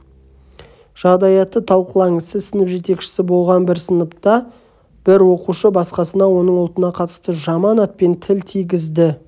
жағдаятты талқылаңыз сіз сынып жетекші болған сыныпта бір оқушы басқасына оның ұлтына қатысты жаман атпен тіл тигізді